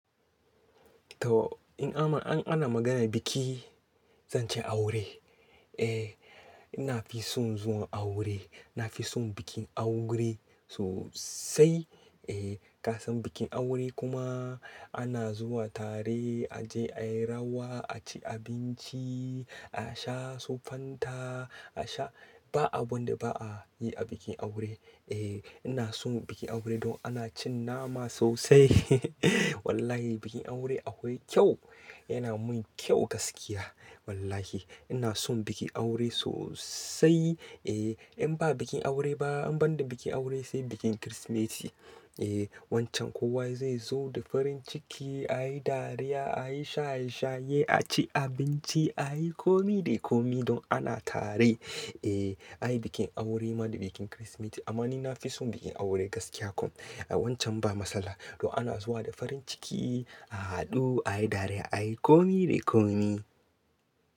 To in ana, an ana maganar biki, zan ce aure. Eh ina fi son zuwa aure. Na fi son bikin aure sosai. Eh ka san bikin aure kuma ana zuwa tare, a je ayi rawa, a ci abinci, a sha su fanta, a sha, ba abun da ba'a yi a bikin aure. Eh ina son bikin aure don ana cin nama sosai. Wallahi bikin aure akwai kyau. Yana mun kyau gaskiya. Wallahi ina son bikin aure sosai. Eh in ba bikin aure ba, in banda bikin aure, sai bikin Kirsimeti. Eh wancan kowa zai zo da farin ciki, a yi dariya, a yi shaye shaye, a ci abinci, a yi komi da komi don ana tare. Eh ayi bikin aure ma da bikin Kirsimeti. Amma ni na fi son bikin aure gaskiya kuma. Eh wancan ba matsala. Don ana zuwa da farin ciki, a haɗu, a yi dariya, a yi komi da komi.